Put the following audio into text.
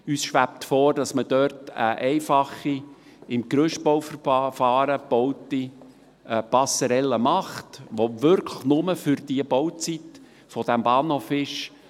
Uns schwebt vor, dass man eine einfache, im Gerüstbauverfahren gebaute Passerelle macht, die wirklich nur für die Bauzeit des Bahnhofs besteht.